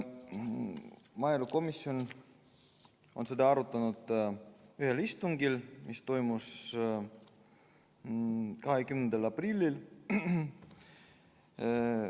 Maaelukomisjon on seda eelnõu arutanud ühel istungil, mis toimus 20. aprillil.